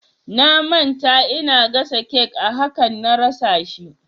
Na manta ina gasa cake a hakan na rasa shi